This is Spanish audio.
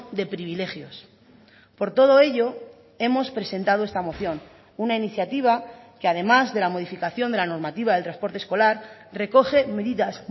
de privilegios por todo ello hemos presentado esta moción una iniciativa que además de la modificación de la normativa del transporte escolar recoge medidas